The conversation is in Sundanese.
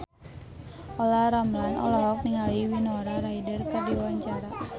Olla Ramlan olohok ningali Winona Ryder keur diwawancara